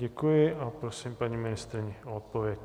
Děkuji a prosím paní ministryni o odpověď.